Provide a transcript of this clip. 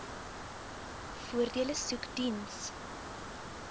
voordele soek diens